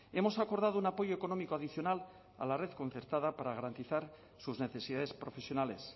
hemos acordado un apoyo económico adicional a la red concertada para garantizar sus necesidades profesionales